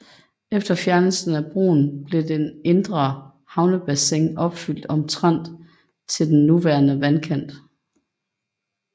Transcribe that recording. Efter fjernelsen af broen blev den indre havnebassin opfylt omtrent til den nuværende vandkant